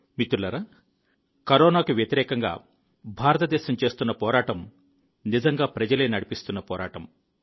మిత్రులారా కరోనాకు వ్యతిరేకంగా భారతదేశం చేసిన పోరాటం నిజంగా ప్రజలే నడిపించిన పోరాటం